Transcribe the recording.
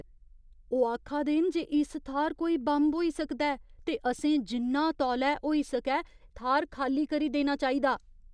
ओह् आखा दे न जे इस थाह्‌र कोई बम होई सकदा ऐ ते असें जिन्ना तौले होई सकै थाह्‌र खाल्ली करी देना चाहिदा।